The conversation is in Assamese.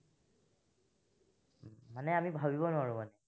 মানে আমি ভাবিব নোৱাৰো মানে।